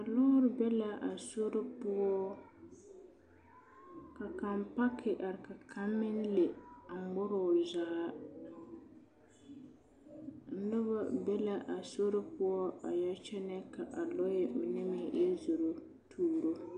Buluu be la a sori poɔ ka kaŋ paki are ka a kaŋ meŋ le a ŋmore o zaa noba be la a sori poɔ a yɛ kyɛnɛ kyɛ ka a lɔɛ mine yɛ zoro tuuro